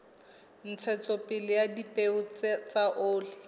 ntshetsopele ya dipeo tsa oli